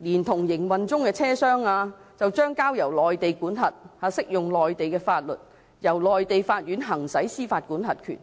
連同營運中的車廂，將交由內地管轄，適用內地法律，由內地法院行使司法管轄權。